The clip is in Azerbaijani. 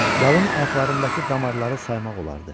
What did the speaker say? Yalın ayaqlarındakı damarları saymaq olardı.